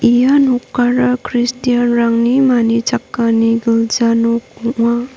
ia nokara kristian -rangni manichakani gilja nok ong·a.